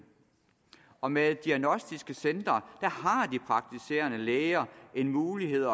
og med diagnostiske centre har de praktiserende læger en mulighed